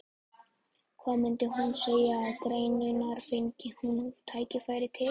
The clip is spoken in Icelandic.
Hvað myndi hún segja við gerendurna, fengi hún tækifæri til?